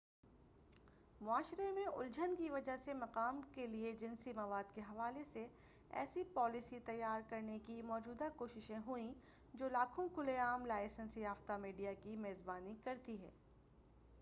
معاشرے میں الجھن کی وجہ سے مقام کے لئے جنسی مواد کے حوالے سے ایسی پالیسی تیار کرنے کی موجودہ کوششیں ہوئیں جو لاکھوں کھلے عام لائسنس یافتہ میڈیا کی میزبانی کرتی ہے